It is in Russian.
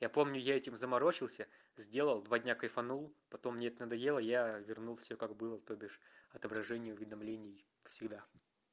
я помню я этим заморочился сделал два дня кайфанул потом мне это надоело я вернул все как было то бишь отображение уведомлений всегда